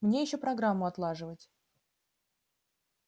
мне ещё программу отлаживать